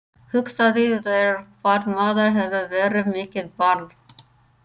Hugsaðu þér hvað maður hefur verið mikið barn.